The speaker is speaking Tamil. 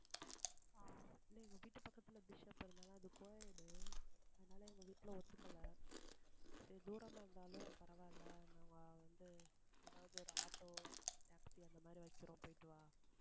இல்ல எங்க வீட்டுல பக்கத்துல பிஷப் இருந்தாலும் அது co-ed அதுனால எங்க வீட்ல ஒதுக்கல சரி தூரமா இருந்தாலும் பரவாயில்லை நம்ம வந்து ஏதாவது ஒரு auto taxi அந்த மாதிரி வைக்கிறோம் போயிட்டு வா